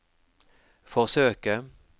forsøke